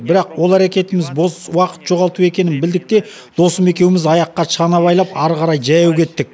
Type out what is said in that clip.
бірақ ол әрекетіміз бос уақыт жоғалту екенін білдік те досым екеуіміз аяққа шана байлап ары қарай жаяу кеттік